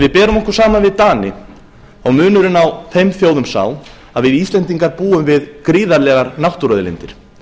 við berum okkur saman við dani þá er munurinn á okkar þjóðum sá að við íslendingar búum við gríðarlegar náttúruauðlindir